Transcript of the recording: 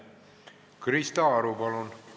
Krista Aru, palun!